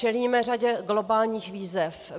Čelíme řadě globálních výzev.